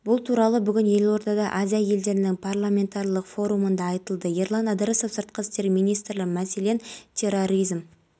нұрсұлтан назарбаев түрік республикасының бұрынғы президенті абдулла гүлмен кездесті кездесуде мемлекет басшысы қазақстанның соңғы жылдары жеткен